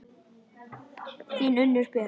Þín, Unnur Björk.